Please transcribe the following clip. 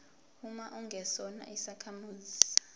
uma ungesona isakhamuzi